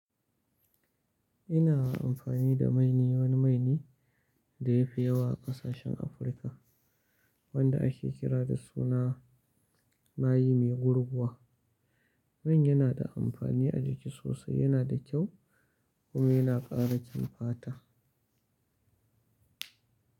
Ina amfani da mai ne, wani mai ne da yafi yawa a ƙasashen Afirka wanda ake kira da suna mayi mai gurguwa. Man yana da amfani a jiki sosai, yana da kyau kuma yana ƙara kyin fata.